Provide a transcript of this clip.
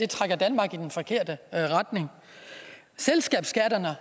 trækker danmark i den forkerte retning selskabsskatterne har